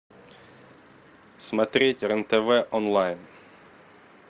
смотреть рен тв онлайн